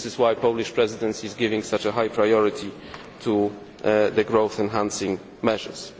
This is why the Polish Presidency is giving such a high priority to the growth enhancing measures.